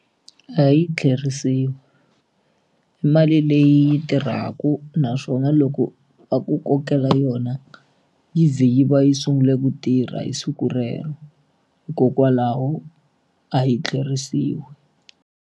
A yi tlheriseriwi i mali leyi tirhaka naswona loko va ku kokela yona yi ze yi va yi sungule ku tirha hi siku rero hikokwalaho a yi tlheriseriwi.